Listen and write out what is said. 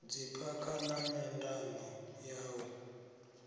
dziphakha na nyandano ya u